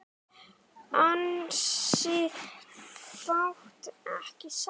Ansi fátt ekki satt?